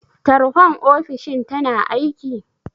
Tarhon ofishin tana aiki?